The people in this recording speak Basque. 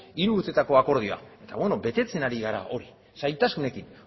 hiru urtetako akordioa eta betetzen ari gara zailtasunekin